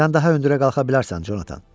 Sən daha hündürə qalxa bilərsən, Jonathan.